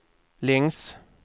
längs